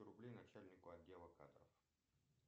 рублей начальнику отдела кадров